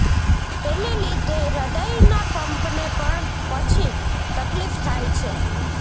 તેને લીધે હ્રદયના પંપને પણ પછી તકલીફ થાય છે